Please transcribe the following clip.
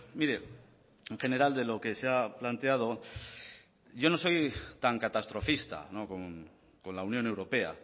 mire en general de lo que se ha planteado yo no soy tan catastrofista con la unión europea